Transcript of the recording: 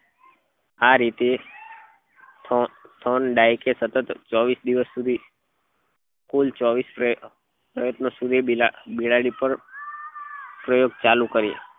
આ રીતે સતત ચોવીસ દિવસ સુધી કુલ ચોવીસ પ્રયત્નો સુધી બિલાડી પર પ્રયોગ ચાલુ કર્યા